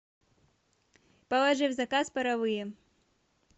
положи в заказ паровые